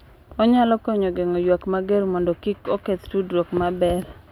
Onyalo konyo geng’o ywak mager mondo kik oketh tudruok maber.